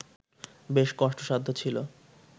বেশ কষ্টসাধ্য ছিল